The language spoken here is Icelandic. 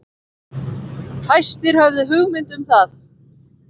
Fæstir höfðu hugmynd um það.